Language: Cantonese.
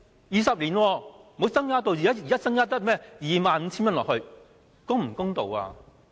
二十年沒有提高，現在只增加 25,000 元，是否公道？